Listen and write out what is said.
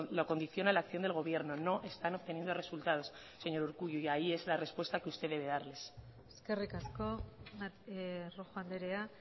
lo condiciona la acción del gobierno no están obteniendo resultados señor urkullu y ahí es la respuesta q usted debe darles eskerrik asko rojo andrea